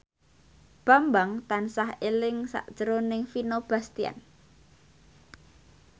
Bambang tansah eling sakjroning Vino Bastian